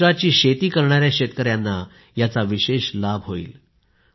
केशराची शेती करणाऱ्या शेतकऱ्यांना याचा विशेष लाभ होईल